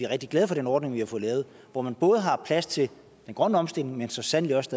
rigtig glade for den ordning vi har fået lavet hvor man både har plads til den grønne omstilling men så sandelig også